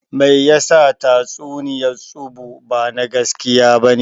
Meyasa tatsuniyan tsubu ba na gaskiya bane?